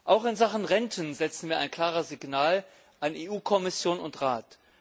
Auch in Sachen Renten setzen wir ein klares Signal an EU Kommission und Rat.